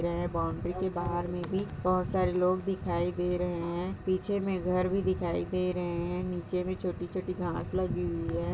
यह बाउंड्री के बाहर में भी बहुत सारे लोग दिखाई दे रहे है पीछे में घर भी दिखाई दे रहे है नीचे में छोटी-छोटी घास लगी हुई हैं।